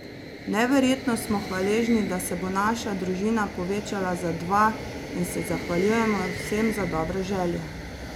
Neverjetno smo hvaležni, da se bo naša družina povečala za dva in se zahvaljujemo vsem za dobre želje.